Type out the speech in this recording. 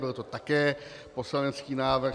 Byl to také poslanecký návrh.